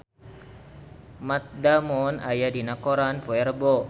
Matt Damon aya dina koran poe Rebo